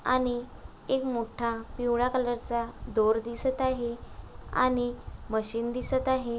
आणि एक मोठा पिवळा कलर चा दोर दिसत आहे आणि मशीन दिसत आहे.